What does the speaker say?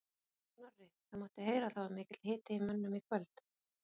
Snorri, það mátti heyra að það var mikill hiti í mönnum í kvöld?